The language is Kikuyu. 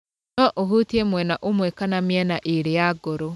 No ĩhutie mwena ũmwe kana mĩena ĩrĩ ya ngoro.